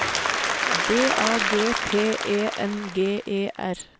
D A G P E N G E R